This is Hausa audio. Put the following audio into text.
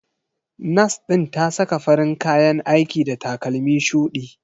Nas ɗin ta saka farin kayan aiki da takalmi shudi.